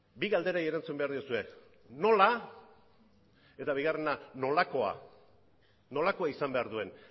bi galderei erantzun behar diozue nola eta nolakoa nolakoa izan behar duen